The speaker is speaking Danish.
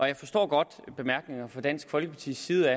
jeg forstår godt de bemærkninger fra dansk folkepartis side